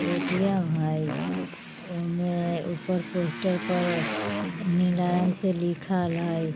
ए_टी_एम हइ। ओमे ऊपर पोस्टर पर नीला रंग से लिखल हई।